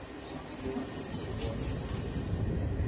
le kufuze bona